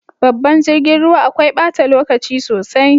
Babban jirgin ruwa akwai bata lokaci sosai.